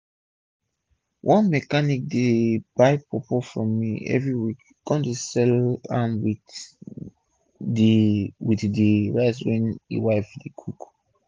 one mechanic dey buy pawpaw from me everi week kon dey sell am with d with d rice wey e wife dey cook